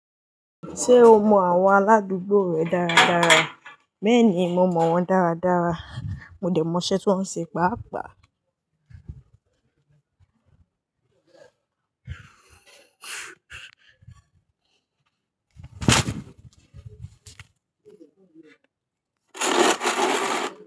Ṣé o mọ àwọn aládùúgbò rẹ dáradára? Béèni mo mọ wón dáradára, mo dé mọ iṣẹ́ tí wón ń ṣe pàápàá.